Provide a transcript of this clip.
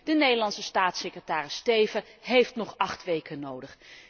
Juttemis, de Nederlandse staatssecretaris Steven heeft nog acht weken nodig.